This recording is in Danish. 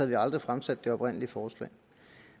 vi aldrig fremsat det oprindelige forslag